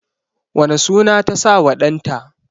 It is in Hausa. wane suna ta sa wa ɗan ta?